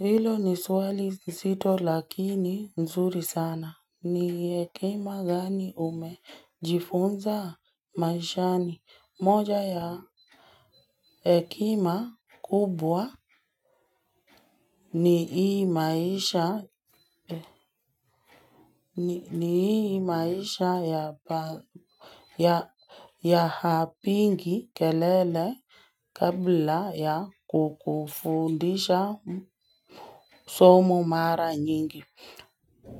Hilo ni swali nzito lakini nzuri sana. Ni hekima gani umejifunza maishani. Moja ya ekima kubwa. Ni hii maisha ya hapingi kelele kabla ya kukufundisha somo mara nyingi.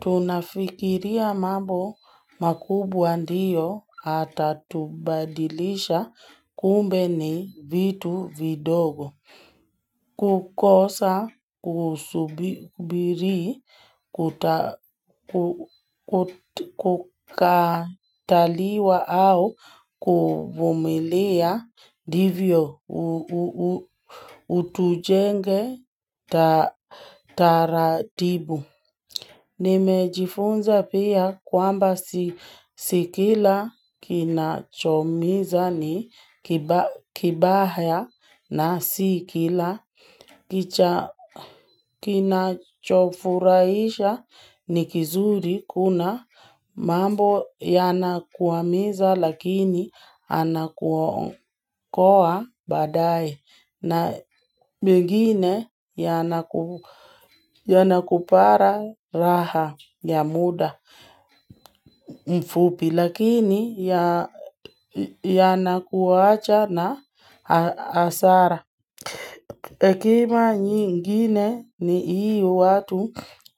Tunafikiria mambo makubwa ndiyo atatubadilisha kumbe ni vitu vidogo kukosa usubiri kukataliwa au kuvumilia ndivyo utujenge taratibu Nimejifunza pia kwamba si kila kina choumiza ni kibaya na sikila kina chofuraisha ni kizuri kuna mambo yanakuwamiza lakini yanakuokoa baadaye. Na mengine ya nakupara raha ya muda mfupi lakini ya nakuwacha na asara. Ekima nyingine ni iyo watu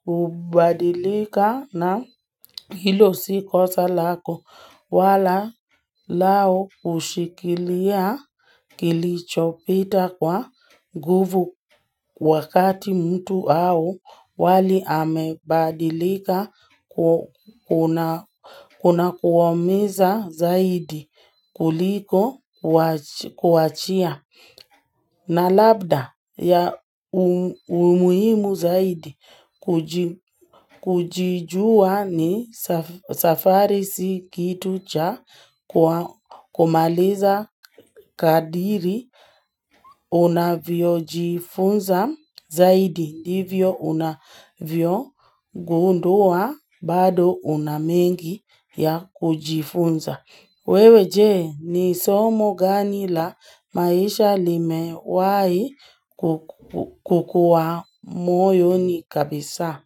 ubadilika na hilo sikosa lako wala lao kushikilia kilichopita kwa nguvu wakati mtu au wali amebadilika kuna kuwaumiza zaidi kuliko kuachia. Na labda ya umuimu zaidi kujijua ni safari si kitu cha kumaliza kadiri unavyo jifunza zaidi ndivyo unavyo gundua bado una mengi ya kujifunza. Wewe jee ni somo gani la maisha lime wahi kukuwa moyo ni kabisa.